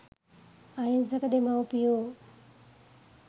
අහිංසක දෙමව්පියෝ